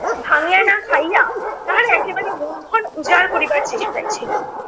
ভাঙিয়া না খাইয়া তাহারা একেবারে মূলধন উজাড় করিবার চেষ্টায় ছিলো